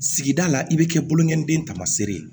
Sigida la i bɛ kɛ bolongɛniden tamasere ye